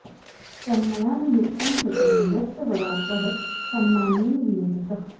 तन्मया न युक्तं कृतं यत्स वराकः संमानेन वियोजितः